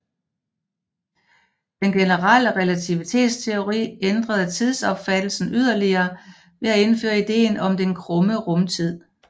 Den generelle relativitetsteori ændrede tidsopfattelsen yderligere ved at indføre ideen om den krumme rumtid